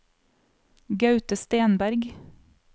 Gaute Stenberg